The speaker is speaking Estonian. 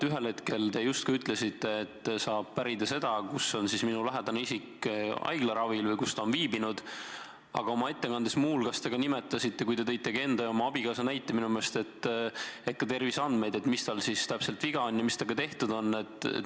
Ühel hetkel te justkui ütlesite, et saab pärida seda, kus on minu lähedane isik haiglaravil või kus ta on viibinud, aga minu meelest te nimetasite oma ettekandes, kui te tõite enda ja oma abikaasa näite, ka terviseandmeid, st mis tal siis täpselt viga on ja mis temaga tehtud on.